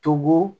Tobo